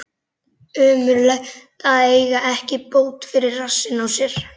Ömurlegt að eiga ekki bót fyrir rassinn á sér.